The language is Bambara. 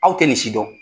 Aw tɛ nin si dɔn